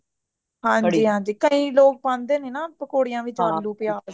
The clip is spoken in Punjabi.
ਹਾਂਜੀ ਹਾਂਜੀ ਕਈ ਲੋਗ ਪਾਂਦੇ ਨੇ ਪਕੌੜਿਆਂ ਵਿੱਚ ਆਲੂ ਪਿਆਜ਼